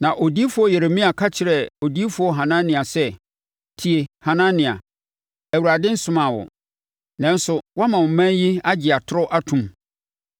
Na odiyifoɔ Yeremia ka kyerɛɛ odiyifoɔ Hanania sɛ, “Tie, Hanania! Awurade nsomaa wo, nanso, woama ɔman yi agye atorɔ ato mu.